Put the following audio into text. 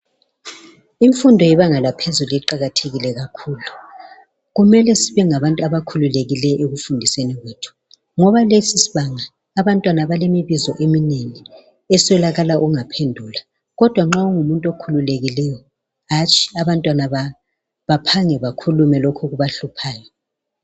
Imfundo yebanga laphezulu iqakathekile kakhulu kumele sibe ngabantu abakhululekileyo ekufundiseni kwethu ngoba lesisibanga abantwana balemibuzo eminengi eswelakala ukungaphendula kodwa nxa ungumuntu okhululekileyo hatshi abantwana baphange bakhulume lokhu okubahluphayo